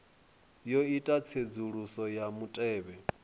yo ita tsedzuluso ya mutevhe